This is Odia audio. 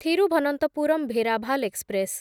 ଥିରୁଭନନ୍ତପୁରମ୍ ଭେରାଭାଲ ଏକ୍ସପ୍ରେସ୍‌